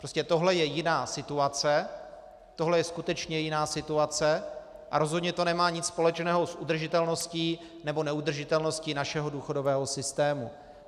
Prostě tohle je jiná situace, tohle je skutečně jiná situace a rozhodně to nemá nic společného s udržitelností nebo neudržitelností našeho důchodového systému.